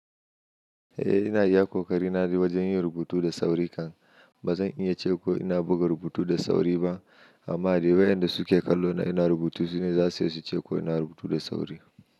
Eh ina iya kokari na wajen yin rubutu da sauri kan. Ba zan iya ce ko ina buga rubutu da sauri ba amma dai wayanda suke kallo na ina rubutu sune za su iya su ce ko ina rubutu da sauri.